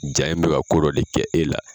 ja in be ka ko dɔ de kɛ e la